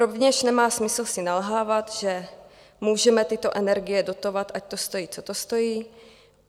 Rovněž nemá smysl si nalhávat, že můžeme tyto energie dotovat, ať to stojí, co to stojí.